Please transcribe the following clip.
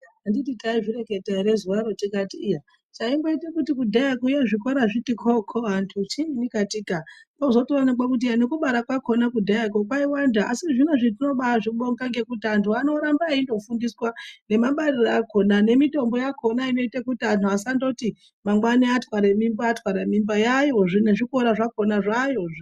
Anditi taizvireketa ere zuwaro tikati iyaa chaimboita kuti kudhaya kuya zvikora zviti koo koo antu chiinyi katika. Zvotozoonekwa kuti nekubara kwakhona kudhaya kwo kwaiwanda. Asi zvinezvi timboaazvibonga ngekuti antu anoramba eindofundiswa nemabariro akhona. Nemitombo yakhona inoita kuti mangwani watwara mimba watwara mimba. Yaayo zve